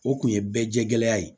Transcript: O kun ye bɛɛ jɛya ye